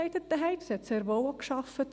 Sie arbeitete sehr wohl auch.